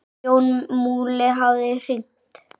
Jón Múli hafði hringt.